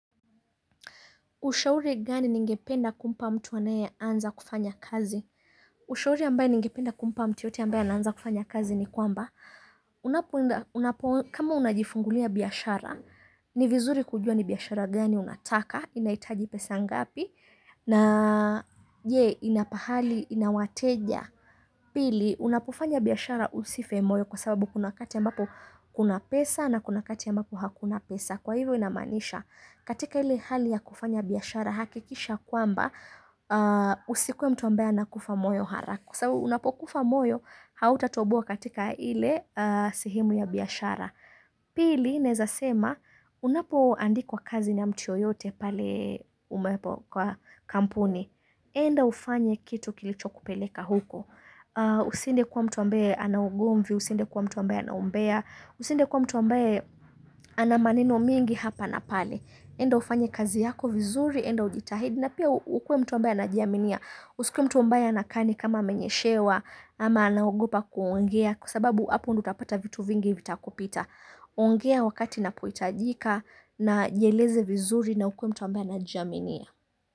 Ushauri gani ningependa kumpa mtu anaeanza kufanya kazi?. Ushauri ambaye ningependa kumpa mtu yoyote ambaye anaanza kufanya kazi ni kwamba, unapoenda kama unajifungulia biyashara, ni vinzuri kujua ni biashara gani unataka?, inaitaji pesa ngapi?. Na aaa je, ina pahali?, ina wateja?. Pili, unapofanya biyashara usife moyo kwa sababu kuna wakati ambapo kuna pesa na kuna wakati ambapo hakuna pesa. Kwa hivyo, inamaanisha katika ile hali ya kufanya biashara. Hakikisha kwamba aa usikuwe mtu ambaye anakufa moyo harak Kwasababu, unapokufa moyo, hautatoboa katika ile aa sehemu ya biashara. Pili, naezasema, unapo andikwa kazi na mtu yoyote. Pale ee umepo kwa kampuni. E enda ufanye kitu kilichokupeleka huko. Aah Usiende kuwa mtu ambayee anaugomvi, usiende kuwa mtu ambaye anaumbea. Usiede kuwa mtu ambaye anamaneno mengi hapa na pale. Eda ufanye kazi yako vinzuri, eda ujitahidi. Na pia ukuwe mtu ambaye anajiaminia. Usikuwe mtu ambaye anakaa ani kama amenyeshewa. Ama anagopa kuongea. Kwa sababu hapo ndo utapata vitu vingi vitakupita ongea wakati inapohitajika. Na jieleze vinzuri na ukwe mtu ambaye anajiaminia.